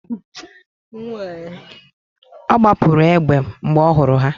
Ọ gbapụrụ egbe mgbe ọ hụrụ ha